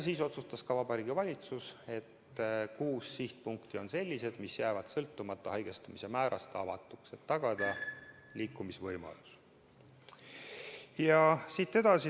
Siis otsustas Vabariigi Valitsus, et kuus sihtpunkti on sellised, mis jäävad sõltumata haigestumise määrast avatuks, et tagada liikumisvõimalus.